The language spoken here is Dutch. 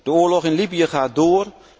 De oorlog in Libië gaat door.